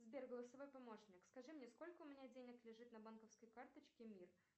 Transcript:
сбер голососоц помощник скажи мне сколько у меня денег лежит на банковской карточке мир